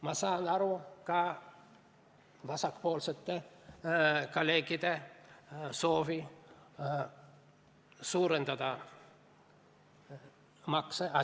Ma saan aru ka vasakpoolsete kolleegide soovist suurendada makse.